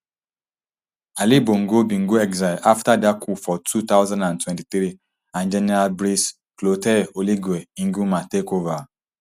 ali bongo bin go exile afta dat coup for two thousand and twenty-three and general brice clotaire oligui nguema take ova